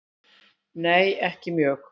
Nei ekki mjög.